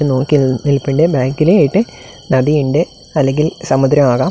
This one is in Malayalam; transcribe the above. നോക്കിനിൽപ്പുണ്ട് ബാക്കിലായിട്ട് നദിയുണ്ട് അല്ലെങ്കിൽ സമുദ്രമാകാം.